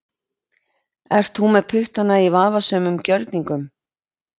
Ert þú með puttana í vafasömum gjörningum?